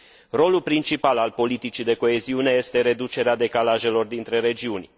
Rolul principal al politicii de coeziune este reducerea decalajelor dintre regiuni.